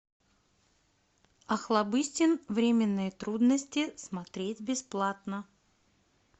охлобыстин временные трудности смотреть бесплатно